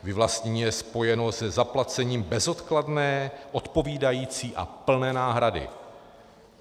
Vyvlastnění je spojeno se zaplacením bezodkladné, odpovídající a plné náhrady.